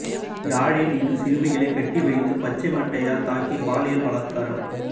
யாழில் இரு சிறுமிகளைக் கட்டி வைத்து பச்சை மட்டையால் தாக்கி பாலியல் பலாத்காரம்